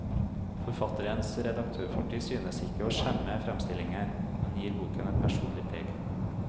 Forfatterens redaktørfortid synes ikke å skjemme fremstillingen, men gir boken et personlig preg.